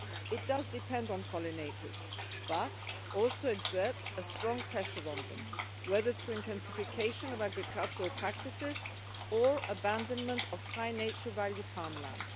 It does depend on pollinators but also exerts a strong pressure on them, whether through intensification of agricultural practices or abandonment of high nature value farmland.